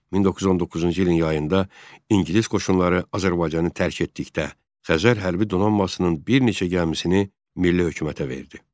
1919-cu ilin yayında ingilis qoşunları Azərbaycanı tərk etdikdə Xəzər hərbi donanmasının bir neçə gəmisini Milli Hökumətə verdi.